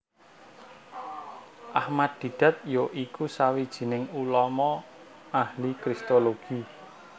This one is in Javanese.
Ahmad Deedat ya iku sawijining ulama ahli kristologi